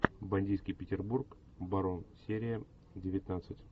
бандитский петербург барон серия девятнадцать